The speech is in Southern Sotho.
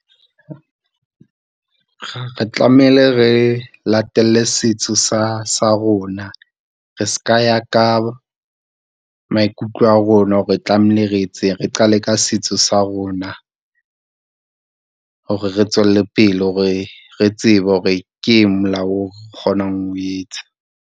Re tlamehile re latele setso sa, sa rona. Re seka ya ka maikutlo a rona hore re tlamehile re etseng. Re qale ka setso sa rona, hore re tswelle pele hore re tsebe hore ke eng molao o re kgonang ho o etsa.